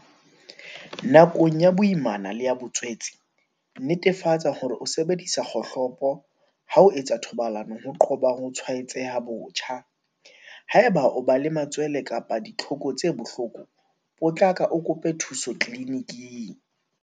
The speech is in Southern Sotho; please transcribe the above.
Nakong ya boimana le ya botswetse, netefatsa hore o sebedisa kgohlopo ha o etsa thobalano ho qoba ho tshwaetseha botjha. Haeba o ba le matswele kapa ditlhoko tse bohloko, potlaka o kope thuso tliliniking.